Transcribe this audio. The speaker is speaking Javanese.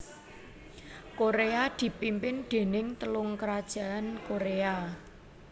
Koréa dipimpin déning Telung krajan Koréa